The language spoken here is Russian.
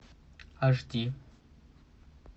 аш ди